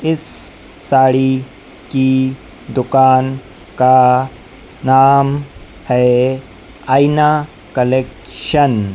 इस साड़ी की दुकान का नाम है आईना कलेक्शन --